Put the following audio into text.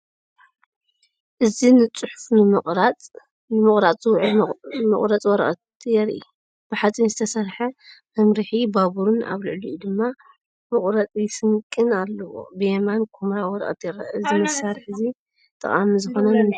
እዚ ንጽሑፍ ንምቑራጽ ዝውዕል መቑረጺ ወረቐት የርኢ። ብሓጺን ዝተሰርሐ መምርሒ ባቡርን ኣብ ልዕሊኡ ድማ መቑረጺ ስንቂን ኣለዎ። ብየማን ኵምራ ወረቐት ይርአ። እዚ መሳርሒ እዚ ጠቓሚ ዝዀነ ንምንታይ እዩ?